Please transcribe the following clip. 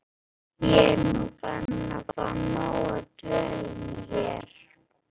Ég er nú farin að fá nóg af dvölinni hér.